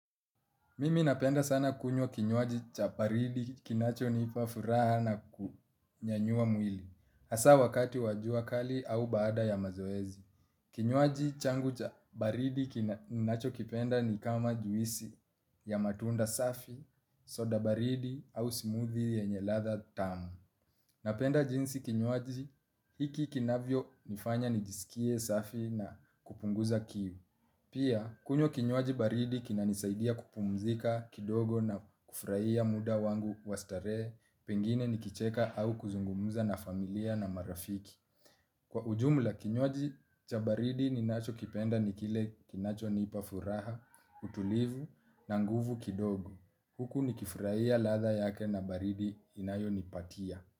Mimi napenda sana kunywa kinywaji cha paridi kinacho nipa furaha na kunyanyua mwili. Hasa wakati wajua kali au baada ya mazoezi. Kinywaji changu cha baridi kinacho kipenda ni kama juisi ya matunda safi, soda baridi au smoothie yenyelatha tamu. Napenda jinsi kinywaji hiki kinavyo nifanya nijisikie safi na kupunguza kiu. Pia kunywa kinywaji baridi kina nisaidia kupumzika kidogo na kufraia muda wangu wastare, pengine nikicheka au kuzungumuza na familia na marafiki. Kwa ujumla kinywaji cha baridi ninacho kipenda nikile kinacho nipafuraha, utulivu na nguvu kidogo. Huku nikifraia latha yake na baridi inayo nipatia.